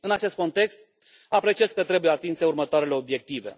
În acest context, apreciez că trebuie atinse următoarele obiective.